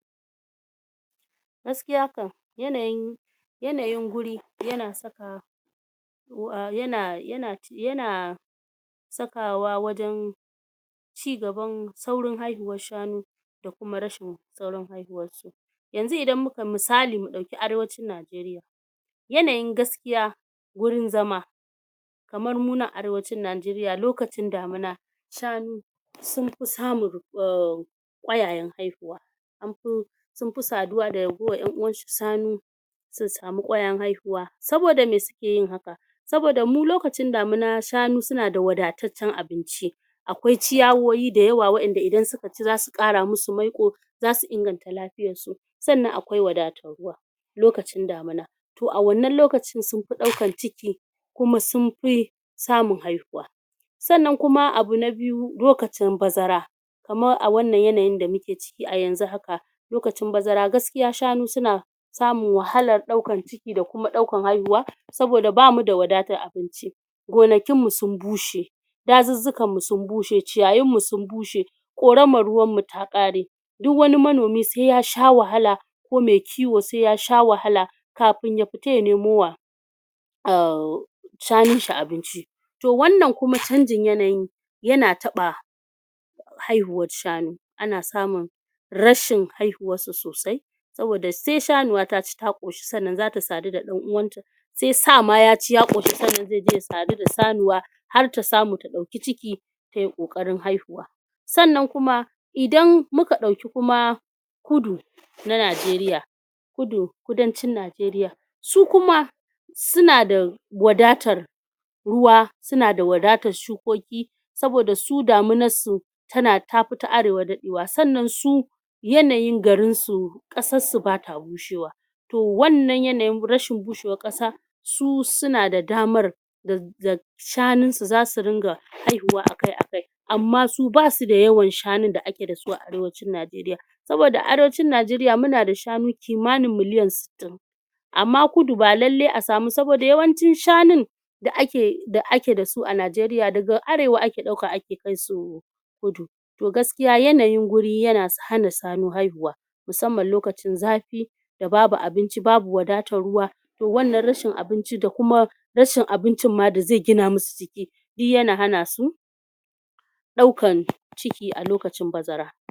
gaskiya kam yanayin yanayin guri yana saka yana yana sakawa wajen cigaban saurin haihuwar shanu da kuma rashin saurin haihuwar su misali mu ɗauki arewacin Najeriya yanayin gaskiya wurin zama kamar mu nan arewacin Najeriya lokacin damina shanu sun fi samun ƙwayayen haihuwa an fi sun fi saduwa da ragowar ƴan uwansu shanu sun samu ƙwayayen haihuwa saboda me suke yin haka saboda mu lokacin damina shanu suna da wadataccen abinci akwai ciyawowi da yawa wa'enda idan suka ci zasu ƙara musu maiƙo zasu inganta lafiyar su sannan akwai wadatar ruwa lokacin damana to a wannan lokacin sun fi ɗaukan ciki kuma sun fi samun haihuwa sannan kuma abu na biyu lokacin bazara kamar a wannan yanayin da muke ciki a yanzu haka lokacin bazara gaskiya shanu suna samun wahalar ɗaukan ciki da kuma ɗaukan haihuwa saboda bamu da wadatar abinci gonakin mu sun bushe dazuzzukan mu sun bushe, ciyayin mu sun bushe ƙoramar ruwan mu ta ƙare duk wani manomi se ya sha wahala ko me kiwo se ya sha wahala kafin ya fita ya nemo wa umm shanun shi abinci to wannan kuma canjin yanayin yana taɓa haihuwar shanu ana samun rashin haihuwar su sosai saboda se shanuwa ta ci ta ƙoshi sannan zata sadu da ɗan uwanta se sa ma yaci ya ƙoshi sannan ze je ya sadu da sanuwa har ta samu ta ɗauki ciki tayi ƙoƙarin haihuwa sannan kuma idan muka ɗauki kuma kudu na Najeriya kudancin Najeriya su kuma suna da wadatar ruwa suna da wadatar shukoki saboda su daminar su ta fi ta arewa daɗewa sannan su yanayin garin su ƙasar su bata bushewa to wannan yanayin rashin bushewar ƙasa su suna da damar da shanun su zasu ringa haihuwa akai-akai amma su basu da yawan shanun da ake da su a arewacin Najeriya saboda arewacin Najeriya muna da shanu kimani miliyan sittin (60) amma kudu ba lalle a samu saboda yawancin shanun da ake da su a Najeriya daga arewa ake ɗauka a kai su kudu to gaskiya yanayin guri yana hana shanu haihuwa musamman lokacin zafi da babu abinci babu wadatar ruwa to wannan rashin abinci da kuma rashin abincin ma da ze gina musu jiki duk yana hana su ɗaukan ciki a lokacin bazara